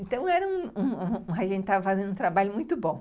Então, a gente estava fazendo um trabalho muito bom.